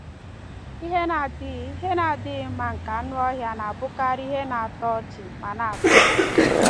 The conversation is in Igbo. Ihe na-adịghị Ihe na-adịghị mma nke anụ ọhịa na-abụkarị ihe na-atọ ọchị ma na-atọ ụtọ.